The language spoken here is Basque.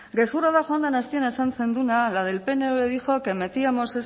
gezurra da joan den astean esan zenuena la del pnv dijo que metíamos